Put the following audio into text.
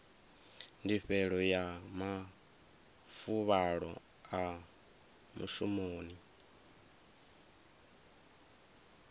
ndifhelo ya mafuvhalo a mushumoni